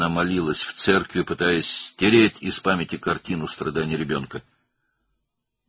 O, daha 3 gün kilsədə dua etdi, uşağın əzablarının şəklini yaddaşından silməyə çalışaraq.